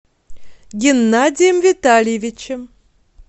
геннадием витальевичем